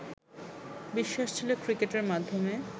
বিশ্বাস ছিলো ক্রিকেটের মাধ্যমে